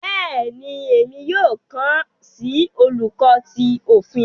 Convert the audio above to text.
Béèni, Èmí yóò kán si Oluko tí Òfin